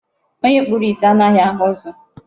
Onye kpuru isi anaghị ahụ ụzọ.